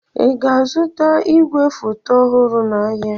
Ị ga-azụta igwefoto ọhụrụ n'ahịa?